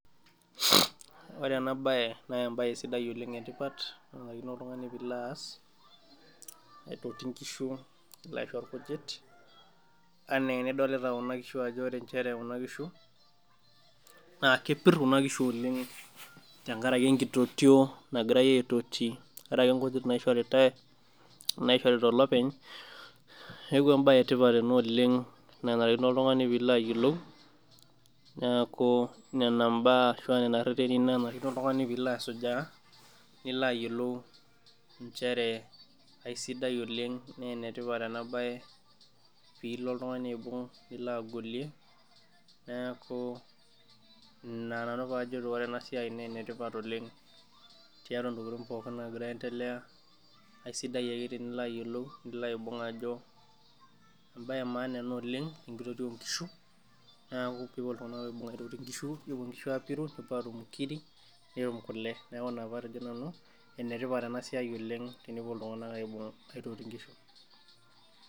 Ore ena bae naa ebae sidai oleng etipat naishaakino oltungani pee ilo aas aitoti nkishu alo aisho inkujit anaa enidolita Kuna kishu ajo ore nchere Kuna. kishu naa kepir kina kishu oleng tenkaraki enkitotio nagirae aitoti, tenkaraki nkujit naishoritae, olopeny, neeku ebae. Etipat ena oleng, naanarikino oltungani pee ilo ayiolou, neeku Nena mbaa ashu nena reteni naa narikino oltungani peyie ilo asujaa, nilo ayiolou nchere, aisidai oleng, naa enetipat ena bae , pee ilo oltungani aibung' nilo agolie, neeku Ina nanu pee ajito ene tipat oleng, tiatua ntokitin pookin naagira aendelea, aisidai ake tenilo ayiolou nilo aibung' ajo ebae emaana ena oleng enkitotio oo nkishu. neeku kepuo iltunganak aitoti nkishu nepuo nkishu apiru nepuo atum nkiri netum kule. neeku Ina pee atejo nanu enetipat ena siai oleng tenepuo iltunganak esiai oonkishu.